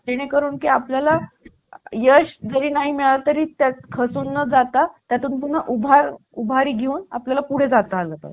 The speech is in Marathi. आठशे रुपये ते एक हजार या दरम्यान भेटले तरी चालेल